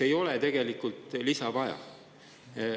… ei ole tegelikult lisa vaja.